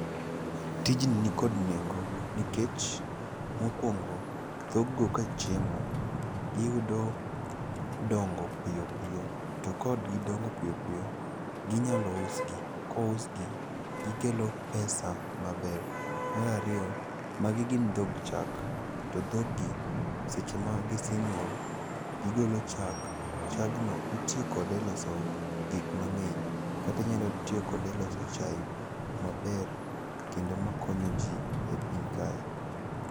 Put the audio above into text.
Tijni nikod nengo nikech mokwongo dhoggo kachiemo, giyudo dongo piyo piyo, to kogidongo piyo piyo, ginyalo usgi, to kousgi, gikelo pesa maber. Mar ariyo, magi gin dhog chag, to dhoggi seche ma gisenyuol, gigolo chak ,chagno itiyo kode e loso gik mang'eny, kata inyalo tiyo kode e loso chaye maber kendo makonyo ji e piny kae.